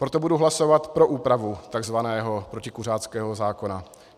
Proto budu hlasovat pro úpravu takzvaného protikuřáckého zákona.